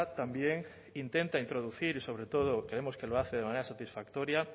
también intenta introducir y sobre todo creemos que lo hace de manera satisfactoria